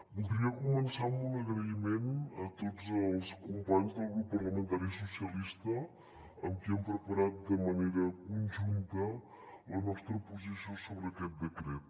voldria començar amb un agraïment a tots els companys del grup parlamentari socialistes amb qui hem preparat de manera conjunta la nostra posició sobre aquest decret